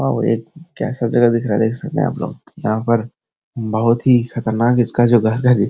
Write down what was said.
और एक क्या सा जगह दिख रहा है देख सकते है आपलोग यहाँ पर बहुत ही खतरनाक इसका जो घर है ।